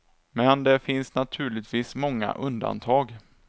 Men det finns naturligtvis många undantag.